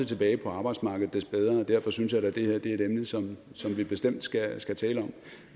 tilbage på arbejdsmarkedet des bedre derfor synes jeg da det her er et emne som som vi bestemt skal skal tale om